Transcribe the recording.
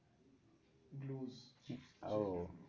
ও